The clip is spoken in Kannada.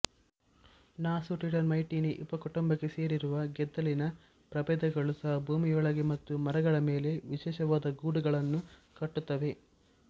ನಾಸುಟಿಟರ್ಮೈಟಿನಿ ಉಪಕುಟುಂಬಕ್ಕೆ ಸೇರಿರುವ ಗೆದ್ದಲಿನ ಪ್ರಬೇಧಗಳೂ ಸಹ ಭೂಮಿಯೊಳಗೆ ಮತ್ತು ಮರಗಳ ಮೇಲೆ ವಿಶೇಷವಾದ ಗೂಡುಗಳನ್ನು ಕಟ್ಟುತ್ತವೆ